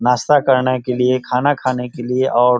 नास्ता करने के लिए खाना खाने के लिए और --